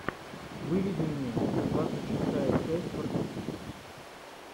выведи мне двадцать шестая часть фортитьюд